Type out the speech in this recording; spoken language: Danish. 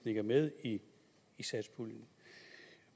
ikke er med i satspuljen